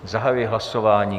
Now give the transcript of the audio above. Zahajuji hlasování.